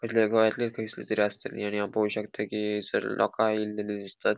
गोयातली खयस्ली तरी आसतली आणि हाव पोव शकता की हैसर लोका येलेली दिसतात.